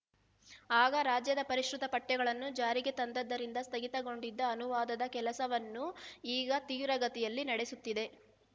ಆಗ ರಾಜ್ಯದ ಪರಿಷ್ಕೃತ ಪಠ್ಯಗಳನ್ನು ಜಾರಿಗೆ ತಂದದ್ದರಿಂದ ಸ್ಥಗಿತಗೊಂಡಿದ್ದ ಅನುವಾದದ ಕೆಲಸವನ್ನು ಈಗ ತೀವ್ರಗತಿಯಲ್ಲಿ ನಡೆಸುತ್ತಿದೆ